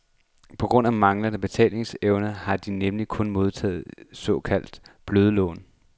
På grund af manglende tilbagebetalingsevne har de nemlig kun modtaget de såkaldte bløde lån.